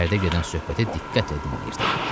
İçəridə gedən söhbətə diqqətlə qulaq asırdı.